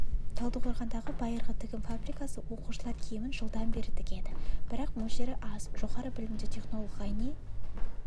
талдықорғандағы байырғы тігін фабрикасы оқушылар киімін жылдан бері тігеді бірақ мөлшері аз жоғары білімді технолог ғайни